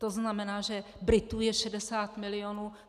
To znamená, že Britů je 60 milionů.